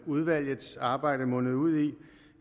udvalgets arbejde mundede ud i